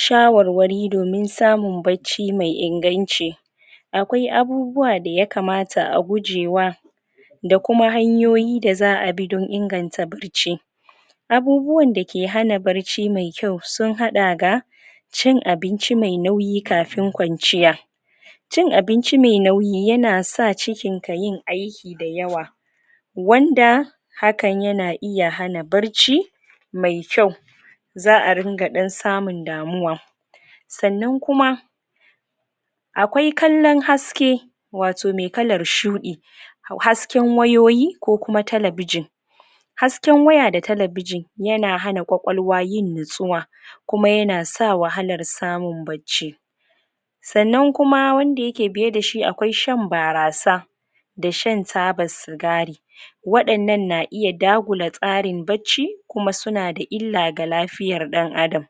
shawarwari domin samun bacci mai inganci akwai abubuwa da yakamata a guje wa da kuma hanyoyi da za'a bi don inganta bacci abubuwan dake hana bacci mai kyau sun hada da cin abinci mai nauyi kafin kwanciya cin abinci mai nauyi yana sa cikin ka yin aiki mai yawa wanda hakan yana iya hana bacci mai kyau za'a ringa dan samun damuwa sannan kuma akwai kallan haskke wato mai kallan shuɗi hasken wayoyi ko kuma telebijin hasken waya da telebijin yana hana ƙwaƙwaluwa yin natsuwa kuma yana sa wahalar samun bacci sannan kuma wanda yake biye da shi akwai shan barasa da shan taba cigari wadannan na iya dagula tsarin bacci kuma suna ga ila ga lafiyan dan adam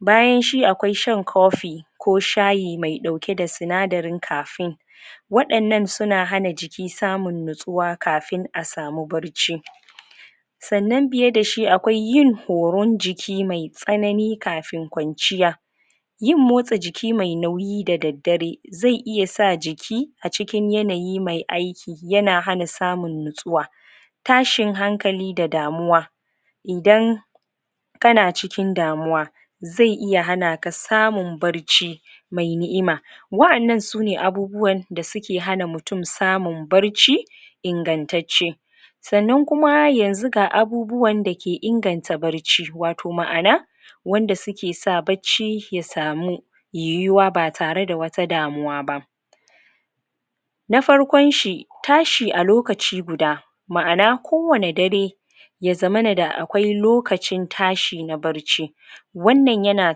bayan shi akwai shan coffee ko shayi mai dauke da sinadarin caffine wadannan suna hana jiki samun natsuwa kafin a samu bacci sannan biye da shi akwai yin koron jiki mai tsanani kafin ƙwanciya yin motsa jiki mai nayi da daddare zai iya sa jiki cikin yanayi mai aiki yana hana samun natsuwa tashin hankali da damuwa idan kana cikin damuwa zai iya hanaka samun bacci mai ni'ima wa'ennan sune abubuwa da suke hana mutum samun bacci ingantatce sannan kuma ga abubuwan dake inganta bacci wato ma'ana wanda suke sa bacci ya samu yi yuwa ba tare da wata damuwa ba na farkon shi tashi a lokaci guda ma'ana ko wani dare ya zammana da akwai lokaci tashi na bacci wannan yana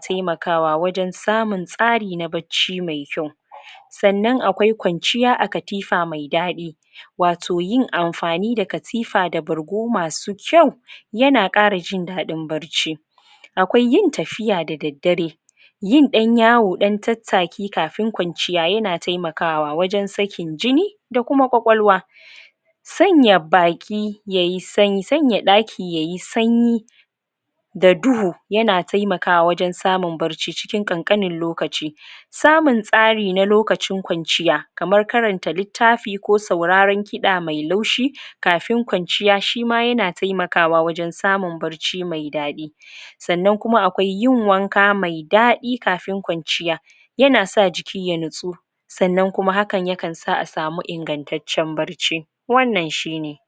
taimakawa wajen samun tsari na bacci mai kyau sannan akwai kwaciya a katifa mai dadi wato yin amfani da katifa da bargo masu kyau yana kara jin dadin bacci akwai yin tafiya da daddare yin dan yawo dan tattaki kafun ƙwanciya yana taimakawa wajen sake jini da kuma ƙwaƙwaluwa sanya daki yayi sanyi da duhu yana taimakwa wajen samun bacci wajen kankanin lokaci samun tsari na lokacin ƙwanciya kaman karanta littafi ko sauraran kiɗa mai laushi kafin ƙanciya shima yana taimakawa wajen samun bacci mai dadi sannan kuma akwai yin wanka mai dadi kafun ƙwanciya yana sa jiki ya natsu sannan kuma hakan na sa a samu ingantatcen bacci wannan shine